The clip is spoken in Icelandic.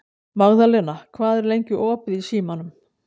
Magðalena, hvað er lengi opið í Símanum?